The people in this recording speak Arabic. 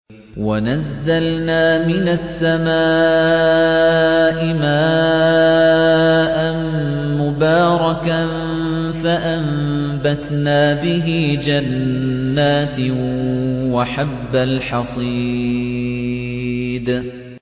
وَنَزَّلْنَا مِنَ السَّمَاءِ مَاءً مُّبَارَكًا فَأَنبَتْنَا بِهِ جَنَّاتٍ وَحَبَّ الْحَصِيدِ